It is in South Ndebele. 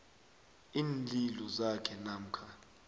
iinlilo zakhe namkha